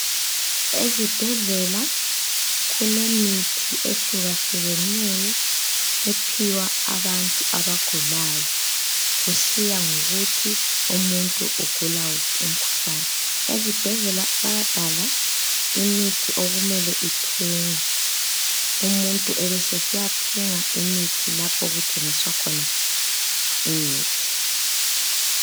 Ezibhedlela kulemithi ehlukahlukeneyo ephiwa abantu abagulayo kusiya ngokuthi umuntu ugula wuphi umkhuhlane. Ezibhedlela bayabhala imithi okumele ithengwe umuntu ebesesiyathenga imithi lapho okuthengiswa khona imithi.